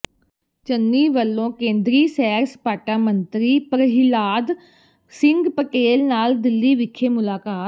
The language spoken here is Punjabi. ਚੰਨੀ ਵਲੋਂ ਕੇਂਦਰੀ ਸੈਰ ਸਪਾਟਾ ਮੰਤਰੀ ਪਰਹਿਲਾਦ ਸਿੰਘ ਪਟੇਲ ਨਾਲ ਦਿੱਲੀ ਵਿਖੇ ਮੁਲਾਕਾਤ